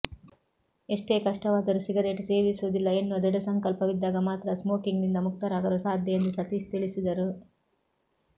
ಎಷ್ಟೇ ಕಷ್ಟವಾದರೂ ಸಿಗರೇಟ್ ಸೇವಿಸುವುದಿಲ್ಲ ಎನ್ನುವ ದೃಢ ಸಂಕಲ್ಪವಿದ್ದಾಗ ಮಾತ್ರ ಸ್ಮೋಕಿಂಗ್ನಿಂದ ಮುಕ್ತರಾಗಲು ಸಾಧ್ಯ ಎಂದು ಸತೀಶ್ ತಿಳಿಸಿದರು